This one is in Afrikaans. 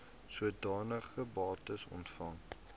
sodanige bates ontvang